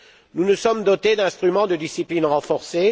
Nous nous sommes dotés d'instruments de discipline renforcée.